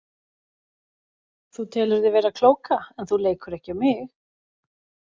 Þú telur þig vera klóka en þú leikur ekki á mig.